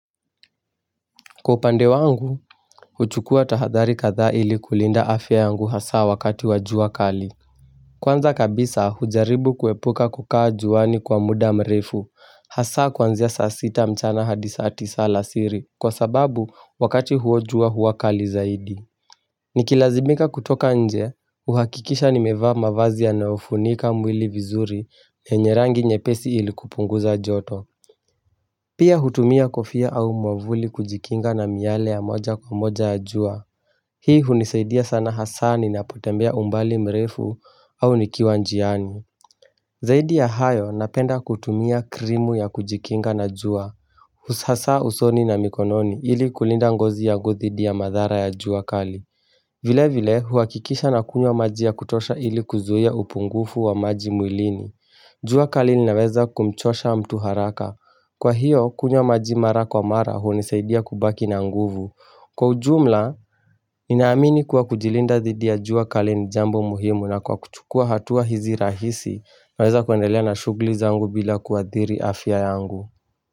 Kwa upande wangu, huchukua tahadhari kathaa ili kulinda afya yangu hasa wakati wa jua kali. Kwanza kabisa hujaribu kuepuka kukaa juani kwa muda mrefu. Hasa kwanzia saa sita mchana hadi saa tisa alasiri kwa sababu wakati huo jua hua kali zaidi. Nikilazimika kutoka nje, uhakikisha nimevaa mavazi yanayofunika mwili vizuri yenye rangi nyepesi ili kupunguza joto. Pia hutumia kofia au mwavuli kujikinga namiale ya moja kwa moja ya jua. Hii hunisaidia sana hasa ninapotembea umbali mrefu au nikiwa njiani. Zaidi ya hayo napenda kutumia krimu ya kujikinga na jua. Hasa usoni na mikononi ili kulinda ngozi yangu dhidi ya madhara ya jua kali. Vile vile huakikisha nakunywa maji ya kutosha ili kuzuia upungufu wa maji mwilini. Jua kali unaweza kumchosha mtu haraka. Kwa hiyo kunywa maji mara kwa mara hunisaidia kubaki na nguvu. Kwa ujumla, ninaamini kuwa kujilinda dhidi ya jua kali ni jambo muhimu na kwa kuchukua hatua hizi rahisi naweza kuendelea na shughli zangu bila kuadhiri afya yangu.